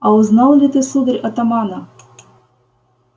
а узнал ли ты сударь атамана